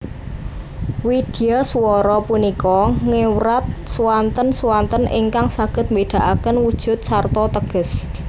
Widyaswara punika ngewrat swanten swanten ingkang saged mbedakaken wujud sarta teges